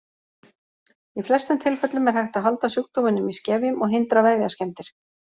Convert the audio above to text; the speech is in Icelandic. Í flestum tilfellum er hægt að halda sjúkdóminum í skefjum og hindra vefjaskemmdir.